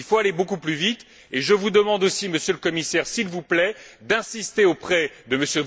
Il faut aller beaucoup plus vite, et je vous demande aussi, Monsieur le Commissaire, s'il vous plaît, d'insister auprès de